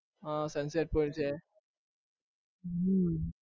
હા sunset point છે હમ